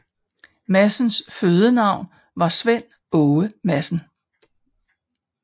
Madsens fødenavn var Svend Aage Madsen